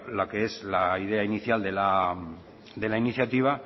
la que es la idea inicial de la iniciativa